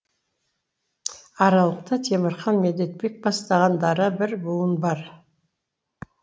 аралықта темірхан медетбек бастаған дара бір буын бар